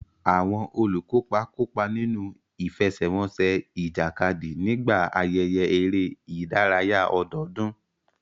Àwọn olùkópa kópa nínú ìfẹsẹ̀wọnsẹ̀ ìjàkadì nígbà ayẹyẹ eré ìdárayá ọdọọdún.